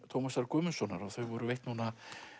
Tómasar Guðmundssonar og þau voru veitt núna